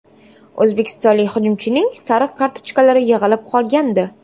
O‘zbekistonlik hujumchining sariq kartochkalari yig‘ilib qolgandi.